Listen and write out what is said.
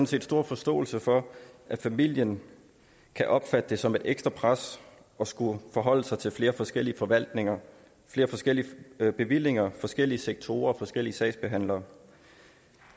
set stor forståelse for at familien kan opfatte det som et ekstra pres at skulle forholde sig til flere forskellige forvaltninger flere forskellige bevillinger forskellige sektorer og forskellige sagsbehandlere